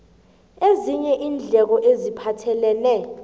ezinye iindleko eziphathelene